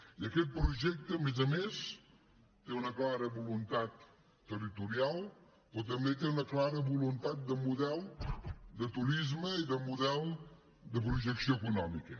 i aquest projecte a més a més té una clara voluntat territorial però també té una clara voluntat de model de turisme i de model de projecció econòmica